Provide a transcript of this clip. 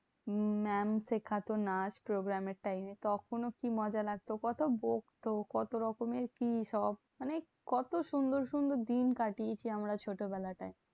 Mam শেখাতো নাচ program এর time এ। তখনও কি মজে লাগতো? কত বকতো? কত রকমের কি সব? মানে কত সুন্দর সুন্দর দিন কাটিয়েছি আমরা ছোটবেলাটায়।